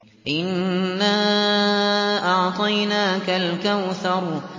إِنَّا أَعْطَيْنَاكَ الْكَوْثَرَ